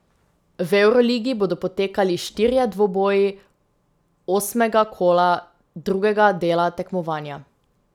V evroligi bodo potekali štirje dvoboji osmega kola drugega dela tekmovanja.